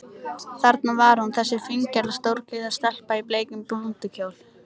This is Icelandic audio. Þarna var hún, þessi fíngerða, stóreygða stelpa í bleikum blúndukjól.